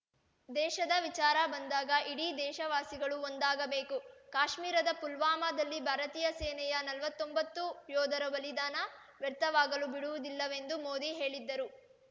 ದೇಶದ ವಿಚಾರ ಬಂದಾಗ ಇಡೀ ದೇಶ ವಾಸಿಗಳು ಒಂದಾಗಬೇಕು ಕಾಶ್ಮೀರದ ಪುಲ್ವಾಮಾದಲ್ಲಿ ಭಾರತೀಯ ನಲ್ವತ್ತೊಂಬತ್ತು ಯೋಧರ ಬಲಿದಾನ ವ್ಯರ್ಥವಾಗಲು ಬಿಡುವುದಿಲ್ಲವೆಂದು ಮೋದಿ ಹೇಳಿದ್ದರು